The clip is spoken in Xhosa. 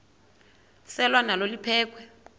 selwa nalo liphekhwe